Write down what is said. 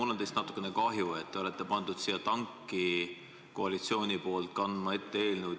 Mul on teist natukene kahju, et koalitsioon on teid tanki pannud ja valinud seda eelnõu ette kandma.